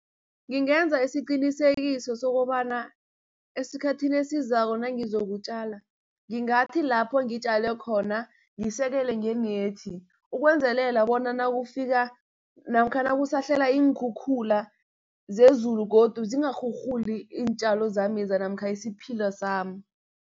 Ngingenza isiqnisekiso sokobana esikhathini esizako nangizokutjala, ngingathi lapho ngitjale khona ngisekele ngenethi. Ukwenzelela bona nakufika namkha nakusahlela iinkhukhula zezulu godu, zingarhurhuli iintjalo zameza namkha isiphila sami.